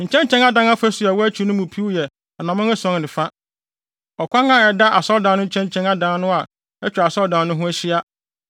Nkyɛnkyɛn adan afasu a ɛwɔ akyi no mu piw yɛ anammɔn ason ne fa. Ɔkwan a ɛda asɔredan no nkyɛnkyɛn adan no a atwa asɔredan no ho ahyia